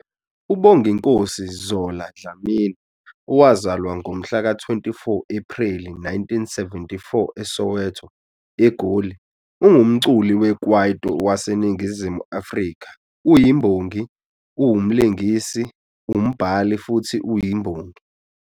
UBonginkosi "Zola" Dlamini, owazalwa ngomhlaka 24 Ephreli 1974 eSoweto, eGoli, ungumculi wekwaito waseNingizimu Afrika, uyimbongi, umlingisi, umbhali futhi uyiMbongi